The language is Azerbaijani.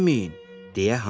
Elə deməyin!”